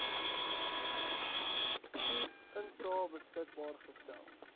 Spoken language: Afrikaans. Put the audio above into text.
insae beskikbaar gestel